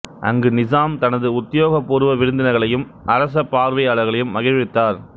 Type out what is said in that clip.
அங்கு நிசாம் தனது உத்தியோகபூர்வ விருந்தினர்களையும் அரச பார்வையாளர்களையும் மகிழ்வித்தார்